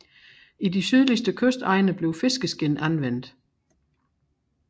I de sydlige kystegne blev fiskeskind anvendt